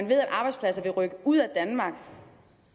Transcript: ved at arbejdspladser vil rykke ud af danmark